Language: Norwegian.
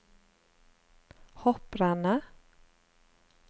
hopprennet